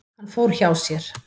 Hann fór hjá sér.